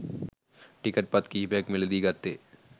ticket පත් කිහිපයක්‌ද මිලදී ගත්තේ